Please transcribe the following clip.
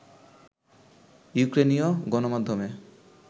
ইউক্রেইনীয় গণমাধ্যমে